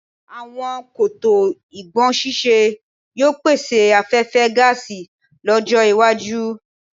Àwọn koto ìkógbọ̀nsẹ̀sí yóò pèsè afẹhfẹ́ gáàsì lọ́jọ́-iwájú.